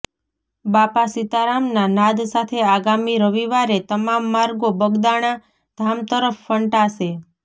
બાપા સીતારામના નાદ સાથે આગામી રવિવારે તમામ માર્ગો બગદાણા ધામ તરફ ફંટાશે